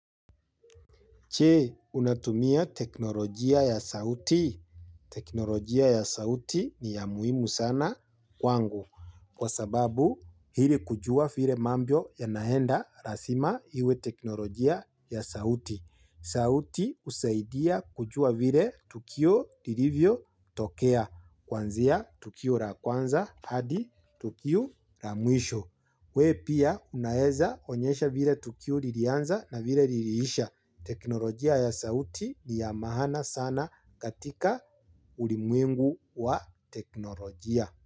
Che, unatumia teknolojia ya sauti. Teknolojia ya sauti ni ya muhimu sana kwangu kwa sababu hili kujua vile mambo yanaenda lazima hiwe teknolojia ya sauti. Sauti husaidia kujua vile tukio lilivyo tokea kwanzia tukio la kwanza hadi tukio la mwisho. We pia unaeza onyesha vile tukio liliianza na vile liliisha teknolojia ya sauti ni ya maana sana katika ulimwengu wa teknolojia.